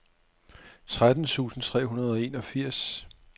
tretten tusind tre hundrede og enogfirs